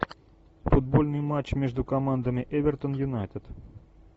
футбольный матч между командами эвертон юнайтед